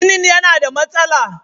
Ginin yana da matsala.